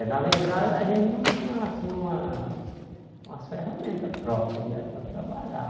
É, na verdade, a gente não tinha, assim, uma umas ferramentas próprias né para trabalhar.